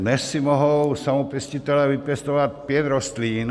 Dnes si mohou samopěstitelé vypěstovat pět rostlin.